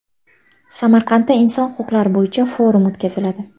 Samarqandda inson huquqlari bo‘yicha forum o‘tkaziladi.